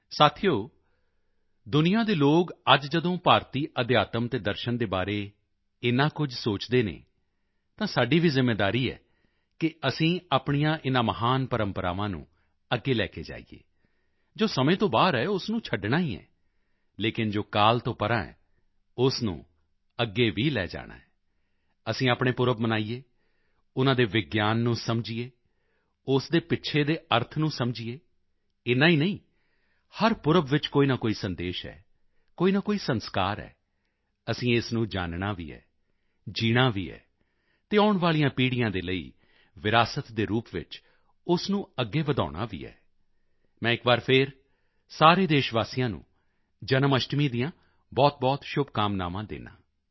ਸਾਥੀਓ ਦੁਨੀਆ ਦੇ ਲੋਕ ਅੱਜ ਜਦੋਂ ਭਾਰਤੀ ਅਧਿਆਤਮ ਅਤੇ ਦਰਸ਼ਨ ਦੇ ਬਾਰੇ ਇੰਨਾ ਕੁਝ ਸੋਚਦੇ ਹਨ ਤਾਂ ਸਾਡੀ ਵੀ ਜ਼ਿੰਮੇਵਾਰੀ ਹੈ ਕਿ ਅਸੀਂ ਆਪਣੀਆਂ ਇਨ੍ਹਾਂ ਮਹਾਨ ਪ੍ਰੰਪਰਾਵਾਂ ਨੂੰ ਅੱਗੇ ਲੈ ਕੇ ਜਾਈਏ ਜੋ ਸਮੇਂ ਤੋਂ ਬਾਹਰ ਹੈ ਉਸ ਨੂੰ ਛੱਡਣਾ ਹੀ ਹੈ ਲੇਕਿਨ ਜੋ ਕਾਲ ਤੋਂ ਪਰ੍ਹਾਂ ਹੈ ਉਸ ਨੂੰ ਅੱਗੇ ਵੀ ਲੈ ਜਾਣਾ ਹੈ ਅਸੀਂ ਆਪਣੇ ਪੁਰਬ ਮਨਾਈਏ ਉਨ੍ਹਾਂ ਦੇ ਵਿਗਿਆਨ ਨੂੰ ਸਮਝੀਏ ਉਸ ਦੇ ਪਿੱਛੇ ਦੇ ਅਰਥ ਨੂੰ ਸਮਝੀਏ ਏਨਾ ਹੀ ਨਹੀਂ ਹਰ ਪੁਰਬ ਵਿੱਚ ਕੋਈ ਨਾ ਕੋਈ ਸੰਦੇਸ਼ ਹੈ ਕੋਈ ਨਾ ਕੋਈ ਸੰਸਕਾਰ ਹੈ ਅਸੀਂ ਇਸ ਨੂੰ ਜਾਨਣਾ ਵੀ ਹੈ ਜੀਣਾ ਵੀ ਹੈ ਅਤੇ ਆਉਣ ਵਾਲੀਆਂ ਪੀੜ੍ਹੀਆਂ ਦੇ ਲਈ ਵਿਰਾਸਤ ਦੇ ਰੂਪ ਵਿੱਚ ਉਸ ਨੂੰ ਅੱਗੇ ਵਧਾਉਣਾ ਵੀ ਹੈ ਮੈਂ ਇੱਕ ਵਾਰੀ ਫਿਰ ਸਾਰੇ ਦੇਸ਼ ਵਾਸੀਆਂ ਨੂੰ ਜਨਮ ਅਸ਼ਟਮੀ ਦੀਆਂ ਬਹੁਤਬਹੁਤ ਸ਼ੁਭਕਾਮਨਾਵਾਂ ਦਿੰਦਾ ਹਾਂ